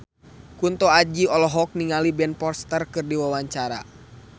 Kunto Aji olohok ningali Ben Foster keur diwawancara